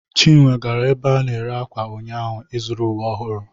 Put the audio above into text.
Chinwe gara ebe a na-ere akwa ụnyaahụ ịzụrụ uwe ọhụrụ.